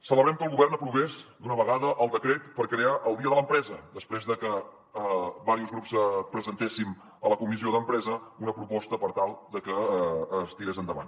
celebrem que el govern aprovés d’una vegada el decret per crear el dia de l’empresa després de que diversos grups presentéssim a la comissió d’empresa una proposta per tal de que es tirés endavant